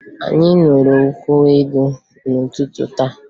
Anyị ṅụrụ nkwụ elu n'ụtụtụ taa